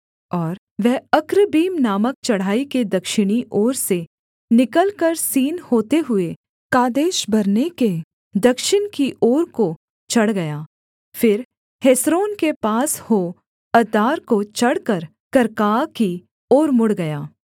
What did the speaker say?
और वह अक्रब्बीम नामक चढ़ाई के दक्षिणी ओर से निकलकर सीन होते हुए कादेशबर्ने के दक्षिण की ओर को चढ़ गया फिर हेस्रोन के पास हो अद्दार को चढ़कर कर्काआ की ओर मुड़ गया